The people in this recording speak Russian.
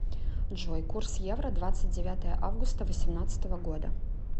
джой курс евро двадцать девятое августа восемнадцатого года